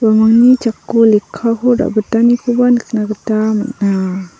uni jako lekkako ra·bitanikoba nikna gita man·a.